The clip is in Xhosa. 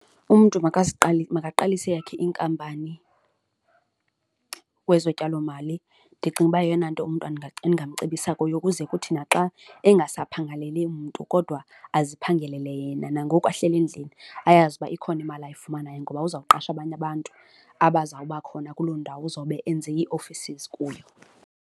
Umntu makaqalise eyakhe inkampani kwezo tyalomali ndicinga uba yeyona nto umntu endingamcebisa kuyo ukuze kuthi naxa engasaphangeleli mntu kodwa aziphangelele yena. Nangoku ahleli endlini ayazi uba ikhona imali ayifumanayo ngoba uzawuqasha abanye abantu aba zawuba khona kuloo ndawo uzawube enze ii-offices kuyo.